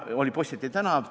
Oli Possieti tänav.